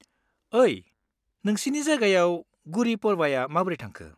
ओइ, नोंसिनि जायगायाव गुड़ी पड़वाया माबोरै थांखो?